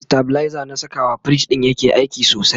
stabilizer na Saka wa fridge ɗin yake aiki sosai